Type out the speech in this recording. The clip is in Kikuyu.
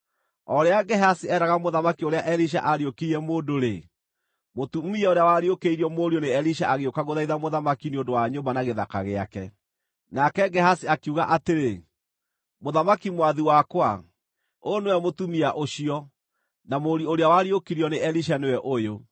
O rĩrĩa Gehazi eeraga mũthamaki ũrĩa Elisha aariũkirie mũndũ-rĩ, mũtumia ũrĩa wariũkĩirio mũriũ nĩ Elisha agĩũka gũthaitha mũthamaki nĩ ũndũ wa nyũmba na gĩthaka gĩake. Nake Gehazi akiuga atĩrĩ, “Mũthamaki mwathi wakwa, ũyũ nĩwe mũtumia ũcio, na mũriũ ũrĩa wariũkirio nĩ Elisha nĩwe ũyũ.”